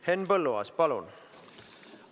Henn Põlluaas, palun!